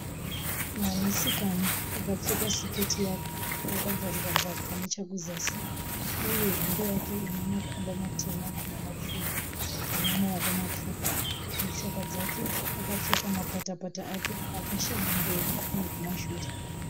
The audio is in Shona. Mwanasikana akapfeka siketi yake hakabvarukabvaruka nechekuzasi uye hembe yake inemakwamba matema nemapfumbu ine maoko mapfupi, mutsoka dzake akapfeka mapatapata Ake akashama kumberi nekumashure.